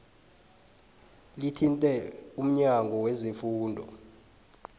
lithinte umnyango wezefundo